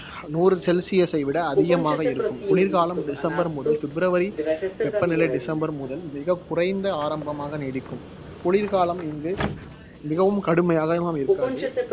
நூறு celsius ஐ விட அதிகமாக இருக்கும். குளிர்காலம் டிசம்பர் முதல் பிப்ரவரி வெப்பநிலை டிசம்பர் முதல் மிகக் குறைந்த ஆரம்பமாக நீடிக்கும் குளிர் காலம் இந்து மிகவும் கடுமையாக எல்லாம் இருக்காது